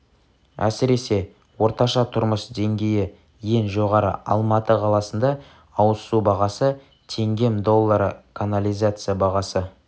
әсіресе орташа тұрмыс деңгейі ең жоғары алматы қаласында ауыз су бағасы теңгем доллары канализация бағасы